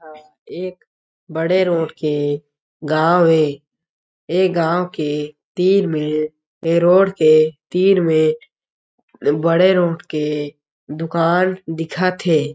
अ एक बड़े रोड के गाँव हे ये गाँव के तीर में ये रोड के तीर में बड़े रोड के दुकान दिखत हे।